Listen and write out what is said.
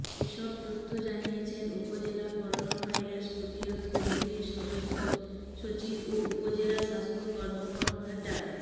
এসব তথ্য জানিয়েছেন উপজেলা করোনাভাইরাস প্রতিরোধ কমিটির সদস্য সচিব ও উপজেলা স্বাস্থ্য কর্মকর্তা ডা